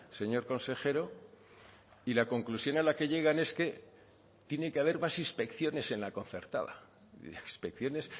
señor consejero y la conclusión a la que llegan es que tiene que haber más inspecciones en la concertada inspecciones